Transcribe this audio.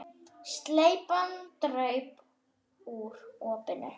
Slepjan draup úr opinu.